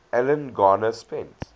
alan garner spent